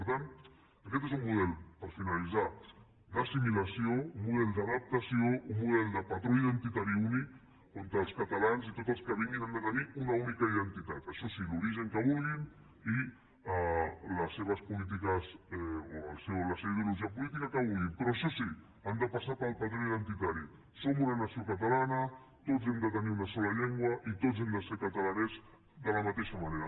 per tant aquest és un model per finalitzar d’assimilació un model d’adaptació un model de patró identitari únic on els catalans i tots els que vinguin han de tenir una única identitat això sí l’origen que vulguin i les seves polítiques o la seva ideologia política que vulguin per això sí han de passar pel patró identitari som una nació catalana tots hem de tenir una sola llengua i tots hem de ser catalanets de la mateixa manera